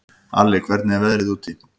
Alli, hvernig er veðrið úti?